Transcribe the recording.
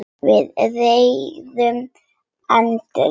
Við réðum engu lengur.